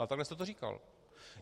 Ale takhle jste to říkal.